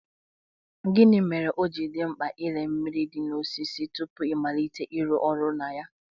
Gịnị mere ọji dị mkpa ịle mmiri dị n'ime osisi tupu ịmalite ịrụ ọrụ na ya?